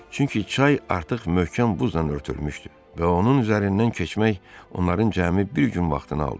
Çünki çay artıq möhkəm buzla örtülmüşdü və onun üzərindən keçmək onların cəmi bir gün vaxtını aldı.